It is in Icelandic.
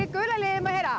gula liðið má ég heyra